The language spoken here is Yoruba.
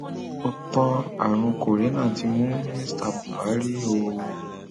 ó tan àrùn kòrénà tí mú mínísítà búhárì um o